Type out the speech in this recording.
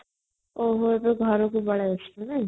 ଓ ହୋ ତୁ ଭରା କୁ ପଲେଇଆସିଲାନୁ ନାଇଁ |